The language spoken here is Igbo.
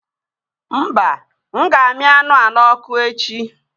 Mba, m ga-aṅụ anụ wa n'ọkụ echi